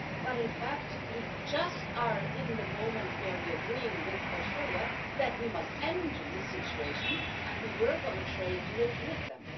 But in fact, we are just in the moment where we are agreeing with Australia that we must end this situation, and we work on a trade deal with them.